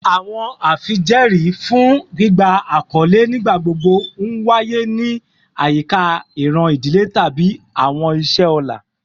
Awọn afijẹẹri fun gbigba akọle nigbagbogbo nwaye ni ayika iran idile tabi awọn iṣẹ ọlá